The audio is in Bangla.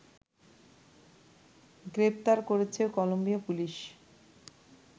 গ্রেফতার করেছে কলম্বিয়া পুলিশ